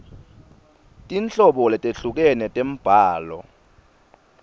tinhlobo letehlukene tembhalo